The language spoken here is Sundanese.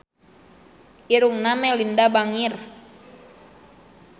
Irungna Melinda bangir